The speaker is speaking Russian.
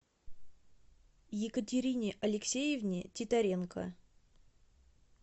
екатерине алексеевне титаренко